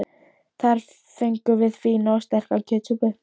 Þar fengum við fína og sterka kjötsúpu.